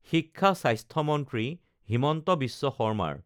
শিক্ষা স্বাস্থ্যমন্ত্ৰী হিমন্ত বিশ্ব শৰ্মাৰ